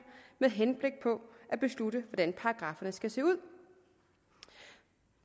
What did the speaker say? med henblik på at beslutte hvordan paragrafferne skal se ud